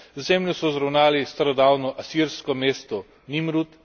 Z zemljo so zravnali starodavno asirsko mesto Nimrut.